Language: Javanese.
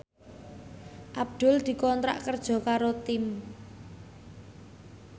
Abdul dikontrak kerja karo Time